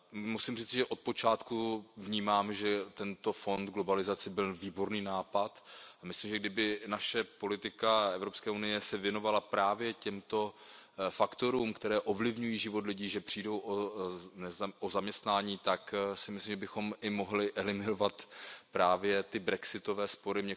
Musím říci, že od počátku vnímám, že tento fond pro globalizaci byl výborný nápad, a myslím, že kdyby naše politika Evropské unie se věnovala právě těmto faktorům, které ovlivňují život lidí, kteří přijdou o zaměstnání, tak bychom i mohli eliminovat právě ty brexitové spory.